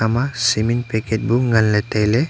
ema cement package bu ngan le taile.